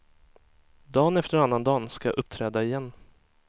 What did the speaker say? Dan efter annandagen ska jag uppträda igen.